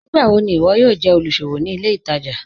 Nígbàwọ̀ ni iwọ yóò jẹ olúṣọ̀wọ̀ ní ilẹ̀ ìtaja?